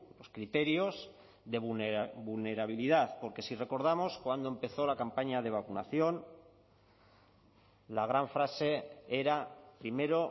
los criterios de vulnerabilidad porque si recordamos cuando empezó la campaña de vacunación la gran frase era primero